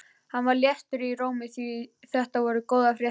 Hann var léttur í rómi því þetta voru góðar fréttir.